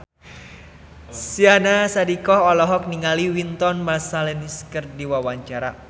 Syahnaz Sadiqah olohok ningali Wynton Marsalis keur diwawancara